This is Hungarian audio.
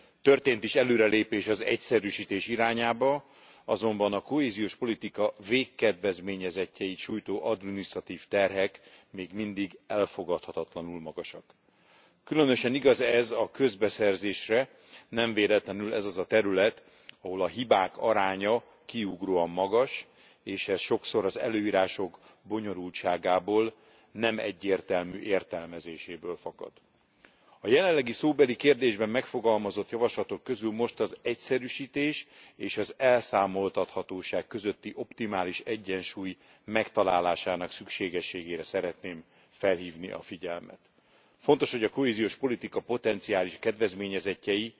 Történt is előrelépés az egyszerűsítés irányába, azonban a kohéziós politika végkedvezményezettjeit sújtó adminisztratív terhek még mindig elfogadhatatlanul magasak. Különösen igaz ez a közbeszerzésre. Nem véletlenül ez az a terület, ahol a hibák aránya kiugróan magas, és ez sokszor az előírások bonyolultságából, nem egyértelmű értelmezéséből fakad. A jelenlegi szóbeli kérdésben megfogalmazott javaslatok közül most az egyszerűsítés és az elszámoltathatóság közötti optimális egyensúly megtalálásának szükségességére szeretném felhívni a figyelmet. Fontos, hogy a kohéziós politika potenciális kedvezményezettjei